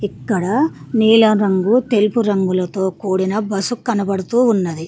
ఇక్కడ నీలం రంగు తెలుపు రంగులతో కూడిన బస్సు కనబడుతూ ఉన్నది.